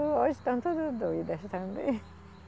Hoje estão todas doidas também.